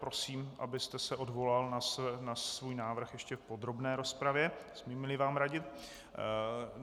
Prosím, abyste se odvolal na svůj návrh ještě v podrobné rozpravě, smím-li vám radit.